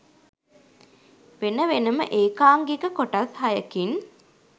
වෙන වෙනම ඒකාංගික කොටස් හයකින්